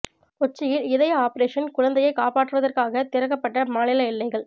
கொச்சியில் இதய ஆப்ரேஷன் குழந்தையை காப்பாற்றுவதற்காக திறக்கப்பட்ட மாநில எல்லைகள்